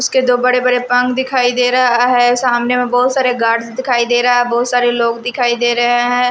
उसके दो बड़े-बड़े पंग दिखाई दे रहा है सामने में बहुत सारे गार्ड्स दिखाई दे रहा है बहुत सारे लोग दिखाई दे रहे हैं।